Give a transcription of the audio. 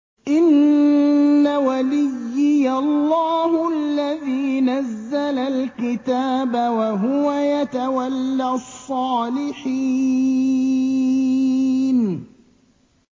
إِنَّ وَلِيِّيَ اللَّهُ الَّذِي نَزَّلَ الْكِتَابَ ۖ وَهُوَ يَتَوَلَّى الصَّالِحِينَ